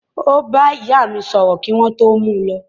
Ó bá ìyá mí sọ̀rọ̀ kí wọ́n tó mú u lọ.